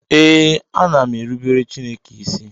Ee, ana m erubere Chineke isi